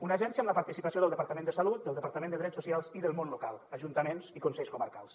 una agència amb la participació del departament de salut del departament de drets socials i del món local ajuntaments i consells comarcals